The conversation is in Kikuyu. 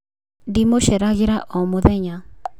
dimuceeragira omuthenya